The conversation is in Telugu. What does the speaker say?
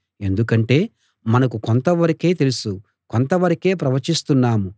ఎందుకంటే మనకు కొంతవరకే తెలుసు కొంతవరకే ప్రవచిస్తున్నాము